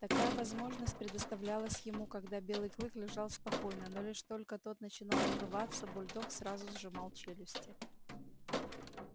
такая возможность предоставлялась ему когда белый клык лежал спокойно но лишь только тот начинал рваться бульдог сразу сжимал челюсти